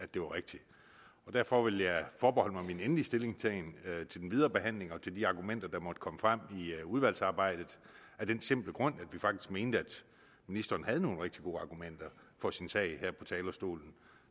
det var rigtigt derfor vil jeg forbeholde mig min endelig stillingtagen til den videre behandling og til de argumenter der måtte komme frem i udvalgsarbejdet af den simple grund at vi faktisk mente at ministeren havde nogle rigtig gode argumenter for sin sag her fra talerstolen